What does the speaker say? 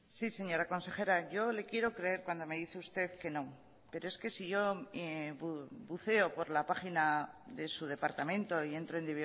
sí señora consejera yo le quiero creer cuando me dice usted que no pero es que si yo buceo por la página de su departamento y entro en